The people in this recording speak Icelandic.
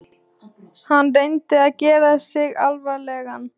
Hann reyndi að gera sig alvarlegan.